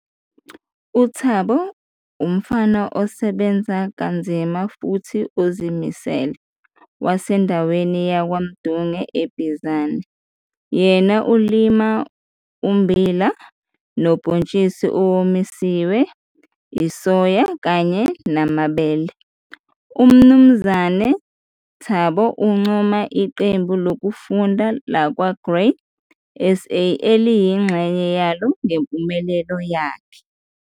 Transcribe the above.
UThabo umfama osebenza nzima futhi ozimisele wasendaweni yaKwa Ndunge eBizana, yena olima ummbila, nubhontshisi owomisiwe, isoya kanye namabele. UMnu Thabo uncoma iqembu lokufunda lakwaGrain SA ayingxenye yalo ngempumelelo yakhe.